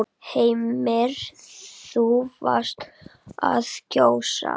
Heimir: Þú varst að kjósa?